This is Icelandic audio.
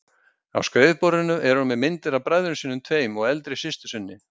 Á skrifborðinu er hún með myndir af bræðrum sínum tveim og eldri systur sinni.